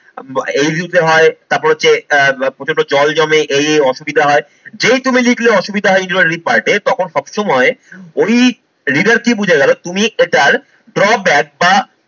এই ঋতুতে হয় তারপর হচ্ছে আহ প্রচন্ড জল জমে এই এই অসুবিধা হয়, যেই তুমি লিখলে অসুবিধা হয় introductory part এ তখন সব সময় ওই reader কি বুঝে গেলো তুমি এটার draw back বা